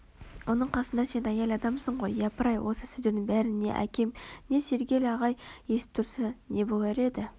оның қасында сен әйел адамсың ғой япыр-ай осы сөздердің бәрін не әкем не сәргел ағай есітіп тұрса не болар еді